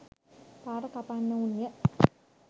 පාර කපන්නවුන් ය.